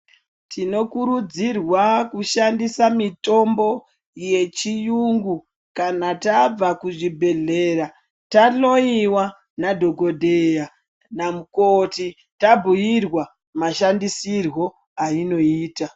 Tinokurudzirwa kushandisa mitombo yechiyungu kana tabva kuzvibhehleya tahloyiwa nadhokodheya namukoti tabhuyirawa mashandisirwo ainoitwa.